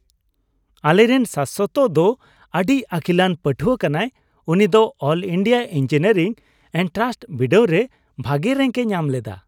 ᱟᱞᱮᱨᱮᱱ ᱥᱟᱥᱥᱚᱛ ᱫᱚ ᱟᱹᱰᱤ ᱟᱹᱠᱤᱞᱟᱱ ᱯᱟᱹᱴᱷᱣᱟᱹ ᱠᱟᱱᱟᱭ ! ᱩᱱᱤ ᱫᱚ ᱚᱞ ᱤᱱᱰᱤᱭᱟ ᱤᱝᱡᱤᱱᱤᱭᱟᱨᱤᱝ ᱮᱱᱴᱨᱟᱱᱥ ᱵᱤᱰᱟᱹᱣ ᱨᱮ ᱵᱷᱟᱜᱮ ᱨᱮᱝᱠᱼᱮ ᱧᱟᱢ ᱞᱮᱫᱟ ᱾